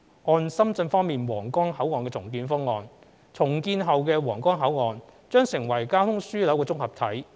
按深圳方面的皇崗口岸重建方案，重建後的皇崗口岸將成為交通樞紐綜合體。